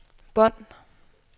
bånd